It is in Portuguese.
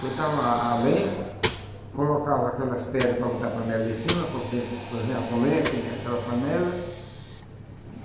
botava a a lenha, colocava aquelas pedras para botar a panela em cima, para poder cozinhar com lenha, aquele aquela panela.